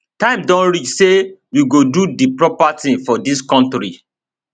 time don reach say we go do di proper tins for dis kontri